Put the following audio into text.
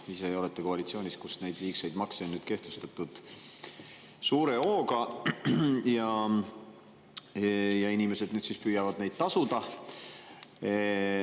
Ise aga olete koalitsioonis, kus neid liigseid makse on kehtestatud suure hooga, ja inimesed nüüd siis püüavad neid maksta.